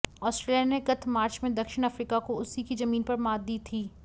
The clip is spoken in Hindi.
आस्ट्रेलिया ने गत मार्च में दक्षिण अफ्रीका को उसी की जमीन पर मात दी थी